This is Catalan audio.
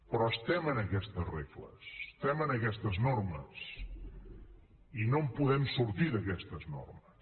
però estem en aquestes regles estem en aquestes normes i no en podem sortir d’aquestes normes